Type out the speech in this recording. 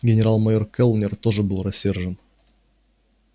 генерал-майор кэллнер тоже был рассержен